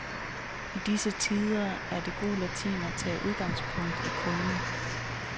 I disse tider er det god latin at tage udgangspunkt i kunden.